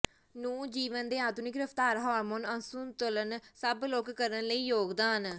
ਨੂੰ ਜੀਵਨ ਦੇ ਆਧੁਨਿਕ ਰਫਤਾਰ ਹਾਰਮੋਨ ਅਸੰਤੁਲਨ ਸਭ ਲੋਕ ਕਰਨ ਲਈ ਯੋਗਦਾਨ